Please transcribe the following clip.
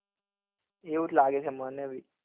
એવું જ લાગે છે મને બી